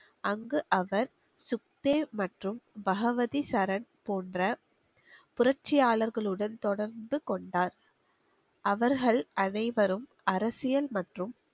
அங்கு அவர் சுக்தே மற்றும் பகவதி சரண் போன்ற புரட்சியாளர்களுடன் தொடர்ந்து கொண்டார் அவர்கள் அனைவரும் அரசியல் மற்றும்